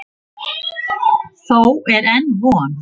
Þó er enn von.